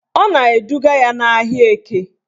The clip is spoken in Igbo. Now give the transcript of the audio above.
Ọ na-eduga ya n'ahịa Eke